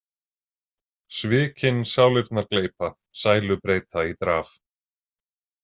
Svikin sálirnar gleypa, sælu breyta í draf.